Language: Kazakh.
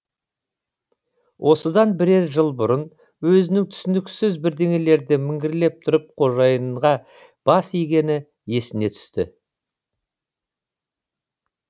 осыдан бірер жыл бұрын өзінің түсініксіз бірдеңелерді міңгірлеп тұрып қожайынға бас игені есіне түсті